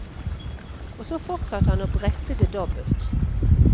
Og så fortsatte han å brette det dobbelt.